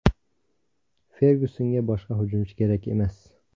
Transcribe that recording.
Fergyusonga boshqa hujumchi kerak emas.